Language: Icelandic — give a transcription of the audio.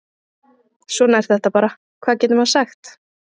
Svona er þetta bara, hvað getur maður sagt?